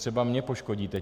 Třeba mě poškodíte.